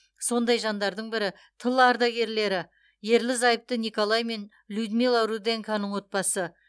сондай жандардың бірі тыл ардагерлері ерлі зайыпты николай мен людмила руденконың отбасы